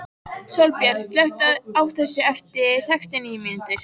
Sólbjört, slökktu á þessu eftir sextíu og níu mínútur.